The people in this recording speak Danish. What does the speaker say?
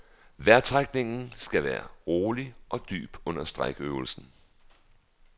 Vejrtrækningen skal være rolig og dyb under strækøvelsen.